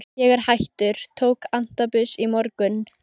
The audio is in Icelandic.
Ég er hættur, tók antabus í morgun.